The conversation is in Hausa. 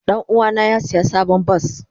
Danuwa na ya siya sabon bas.